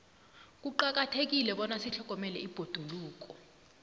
kuqakathekile bona sitlhogomele ibhoduluko